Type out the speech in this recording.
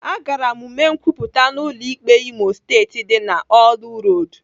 Agara m mee nkwupụta m n'ụlọ ikpe Imo Steeti dị n'orlu Road.